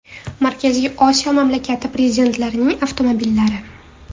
Markaziy Osiyo mamlakatlari prezidentlarining avtomobillari .